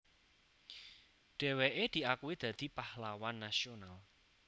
Dheweke diakui dadi Pahlawan Nasional